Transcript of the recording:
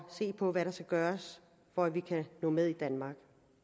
se på hvad der skal gøres for at vi kan nå med i danmark